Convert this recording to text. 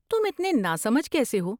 تم اتنے ناسمجھ کیسے ہو؟